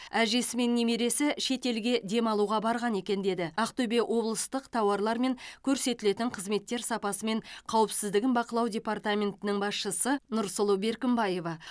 әжесі мен немересі шетелге демалуға барған екен деді ақтөбе облыстық тауарлар мен көрсетілетін қызметтер сапасы мен қауіпсіздігін бақылау департаментінің басшысы нұрсұлу беркімбаева